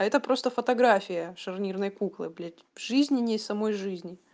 это просто фотография шарнирной куклы блядь жизненей самой жизни